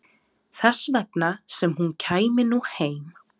Þess vegna sem hún kæmi nú heim.